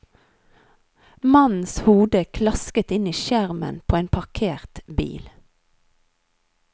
Mannens hode klasket inn i skjermen på en parkert bil.